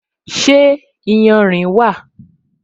Ṣé iyanrìn wà?